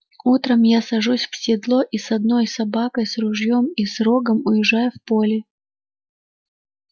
утром я сажусь в седло и с одной собакой с ружьём и с рогом уезжаю в поле